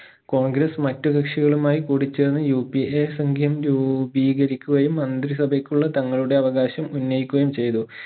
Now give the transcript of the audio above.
കോൺഗ്രസ് മറ്റു കക്ഷികളുമായി കൂടി ചേർന്ന് UPA സംഖ്യം രൂപീകരിക്കുകയും മന്ത്രി സഭയ്ക്കുള്ള തങ്ങളുടെ അവകാശം ഉന്നയിക്കുകയും ചെയ്തു